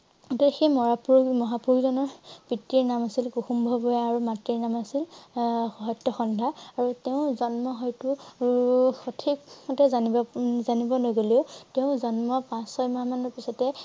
সেই মহাপুৰ~মহাপুৰুষ জনৰ পিতৃৰ নাম আছিল কুসুম্বৰ ভূঞাৰ আৰু মাতৃৰ নাম আছিল আহ সত্যসন্ধ্যা। আৰু তেওঁৰ জন্ম হয়তো উম সঠিক মতে জানিব উম জানিব লাগিলে। তেওঁ জন্মৰ পাছ ছয় মাহ মান পিছতে